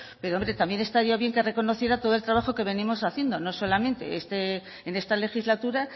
pero hombre también estaría bien que reconociera todo el trabajo que venimos haciendo no solamente en esta legislatura